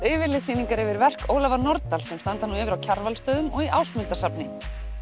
yfirlitssýningar yfir verk Ólafar Nordal sem standa nú yfir á Kjarvalsstöðum og í Ásmundarsafni